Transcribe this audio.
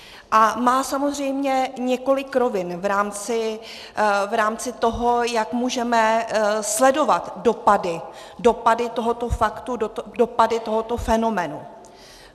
A má samozřejmě několik rovin v rámci toho, jak můžeme sledovat dopady, dopady tohoto faktu, dopady tohoto fenoménu.